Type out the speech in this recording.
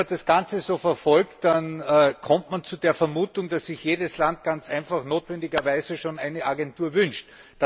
Wenn man das Ganze so verfolgt, dann kommt man zu der Vermutung, dass sich jedes Land ganz einfach notwendigerweise schon eine Agentur wünscht.